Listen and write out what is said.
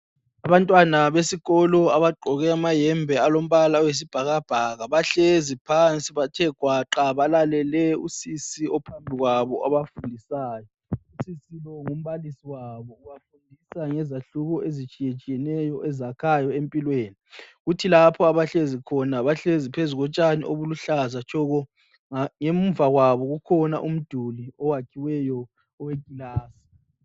Abantwana besikolo abagqoke amayembe alombala oyisibhakabhaka. Bahlezi phansi bathe gwaqa balalele usisi ophambi kwabo obafundisayo. Usisi lowu ngumbalisi wabo, ubafundisa ngezahluko ezitshiyetshiyeneyo ezakhayo empilweni. Kuthi lapho abahlezi khona bahlezi phezulu kotshani obuluhlaza tshoko. Ngemuva kwabo kukhona umduli owakhiweyo owekilasi.